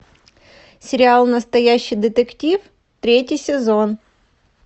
сериал настоящий детектив третий сезон